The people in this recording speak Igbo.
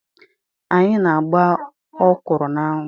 Anyị na-agba ọkwụrụ na-anwụ.